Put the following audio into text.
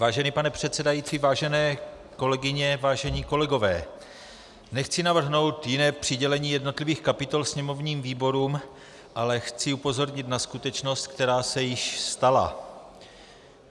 Vážený pane předsedající, vážené kolegyně, vážení kolegové, nechci navrhnout jiné přidělení jednotlivých kapitol sněmovním výborům, ale chci upozornit na skutečnost, která se již stala.